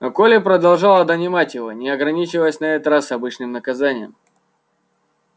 но колля продолжала донимать его не ограничиваясь на этот раз обычным наказанием